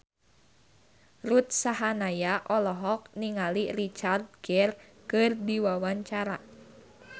Ruth Sahanaya olohok ningali Richard Gere keur diwawancara